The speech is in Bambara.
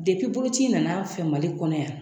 boloci in nana an fɛ Mali kɔnɔ yan.